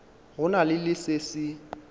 go na le se se